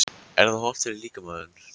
Er það hollt fyrir, fyrir líkamann?